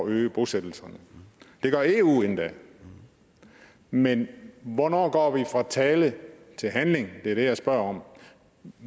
øge bosættelserne det gør eu endda men hvornår går vi fra tale til handling det er det jeg spørger om